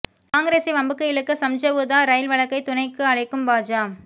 காங்கிரசை வம்புக்கு இழுக்க சம்ஜவுதா ரயில் வழக்கை துணைக்கு அழைக்கும் பாஜ